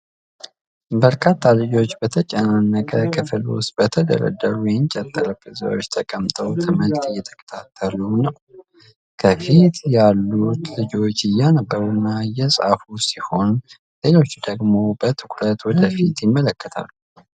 በርካታ ልጆች በተጨናነቀ ክፍል ውስጥ በተደረደሩ የእንጨት ጠረጴዛዎች ተቀምጠው ትምህርት እየተከታተሉ ነው። ከፊት ያሉት ልጆች እያነበቡና እየጻፉ ሲሆን፣ ሌሎች ደግሞ በትኩረት ወደ ፊት ይመለከታሉ።